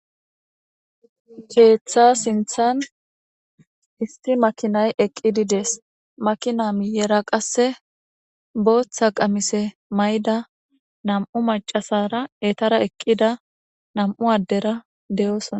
Keeththa sinthan istri makinay eqqididees makina miyera qasse booththa qamise mayda nam'u macasara etara eqqida nam'u addera deyoosona